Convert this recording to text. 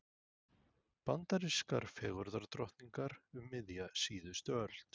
Bandarískar fegurðardrottningar um miðja síðustu öld.